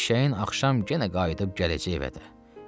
Eşşəyin axşam yenə qayıdıb gələcək əvədə.